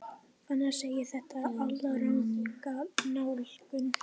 Fannar segir þetta alranga nálgun.